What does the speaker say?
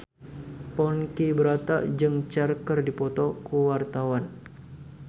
Ponky Brata jeung Cher keur dipoto ku wartawan